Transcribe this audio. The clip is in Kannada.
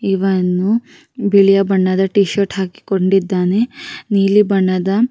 ಇವನು ಬಿಳಿಯ ಬಣ್ಣದ ಟಿ ಶರ್ಟ್ ಹಾಕಿ ಕೊಂಡಿದ್ದಾನೆ ನೀಲಿ ಬಣ್ಣದ-